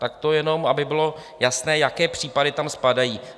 Tak to jenom aby bylo jasné, jaké případy tam spadají.